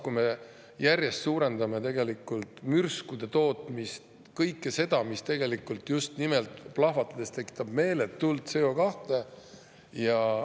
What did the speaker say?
Me järjest suurendame mürskude tootmist, kõike seda, mis tegelikult plahvatades tekitab just nimelt meeletult CO2.